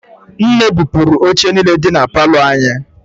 Nne bupụrụ oche niile dị na palọ anyị.